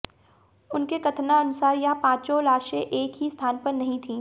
उनके कथनानुसार यह पाचों लाशें एक ही स्थान पर नहीं थीं